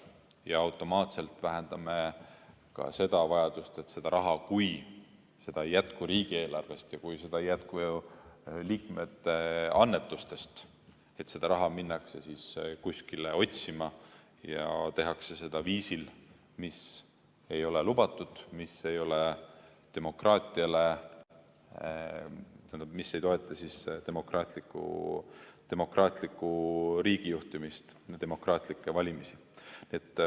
Ja automaatselt vähendame ka seda vajadust, et kui seda raha ei jätku riigieelarvest ja kui seda ei jätku liikmete annetustest, siis seda raha minnakse kuskile otsima ja tehakse seda viisil, mis ei ole lubatud, mis ei ole demokraatiale kohane, mis ei toeta demokraatlikku riigijuhtimist, demokraatlikke valimisi.